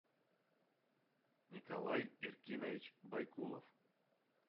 николай эркинович байкулов